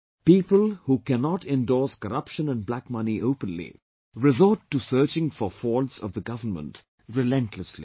People, who cannot endorse corruption and black money openly, resort to searching for faults of the government relentlessly